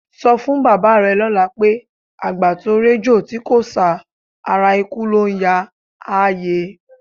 Sọ fún bàbá rẹ lọ́la pé, "àgbà tó réjò tí kò sá, ara ikú ló ń yáa", á yé e.